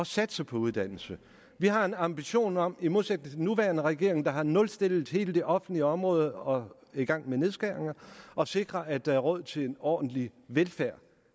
satse på uddannelse vi har en ambition om i modsætning til den nuværende regering der har nulstillet hele det offentlige område og er i gang med nedskæringer at sikre at der er råd til en ordentlig velfærd